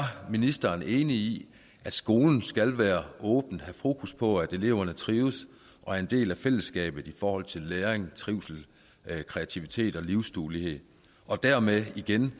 ministeren enig i at skolen skal være åben og have fokus på at eleverne trives og er en del af fællesskabet i forhold til læring trivsel kreativitet og livsduelighed og dermed igen